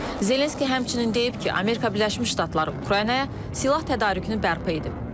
Zelenski həmçinin deyib ki, Amerika Birləşmiş Ştatları Ukraynaya silah tədarükünü bərpa edib.